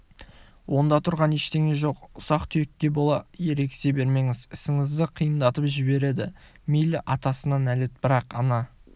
онда тұрған ештеңе жоқ ұсақ-түйекке бола ерегісе бермеңіз ісіңізді қиындатып жібереді мейлі атасына нәлет бірақ ана